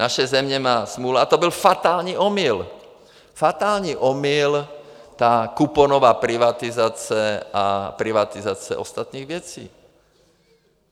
Naše země má smůlu a to byl fatální omyl, fatální omyl, ta kuponová privatizace a privatizace ostatních věcí.